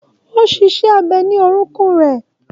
O ṣe iṣẹ abẹ ni orokun rẹ.